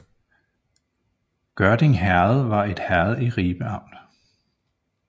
Gørding Herred var et herred i Ribe Amt